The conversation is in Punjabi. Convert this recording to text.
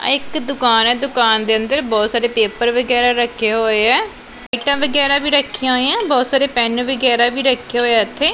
ਆ ਇੱਕ ਦੁਕਾਨ ਹੈ ਦੁਕਾਨ ਦੇ ਅੰਦਰ ਬਹੁਤ ਸਾਰੇ ਪੇਪਰ ਵਗੈਰਾ ਰੱਖੇ ਹੋਏ ਆ ਵਗੈਰਾ ਵੀ ਰੱਖੀਆਂ ਆ ਬਹੁਤ ਸਾਰੇ ਪੈਨ ਵੀ ਗੈਰਾ ਵੀ ਰੱਖੇ ਹੋਏ ਆ ਇਥੇ।